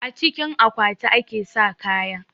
A cikin akwati ake sa kaya